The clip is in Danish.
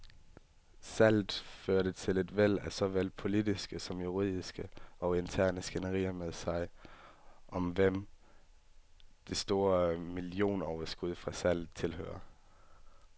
Salget førte et væld af såvel politiske som juridiske og interne skænderier med sig, om hvem det store millionoverskud fra salget tilhører.